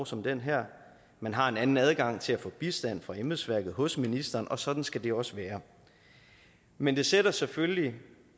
som det her man har en anden adgang til at få bistand fra embedsværket hos ministeren og sådan skal det også være men det sætter selvfølgelig